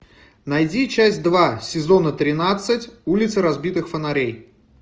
найди часть два сезона тринадцать улица разбитых фонарей